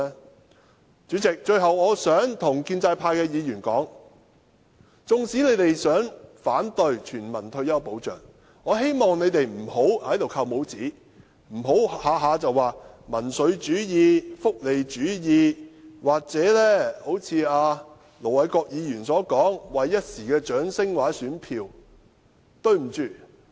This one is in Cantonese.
代理主席，最後我想對建制派的議員說，縱使他們想反對全民退休保障，我希望他們也不要在此扣帽子，不要動輒談到甚麼民粹主義、福利主義，又或如盧偉國議員般說我們是為了一時的掌聲或選票。